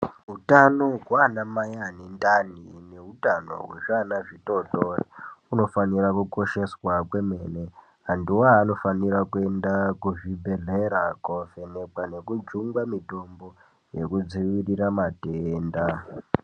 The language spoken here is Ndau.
Utano hwaanamai ane ndani neutano hwezviana zvitootori, unofanira kukosheswa kwemene. Antuwo anofanirwa kuenda kuzvibhedhlera kovhenekwa nekujungwe mitombo nekudzivirira matenda.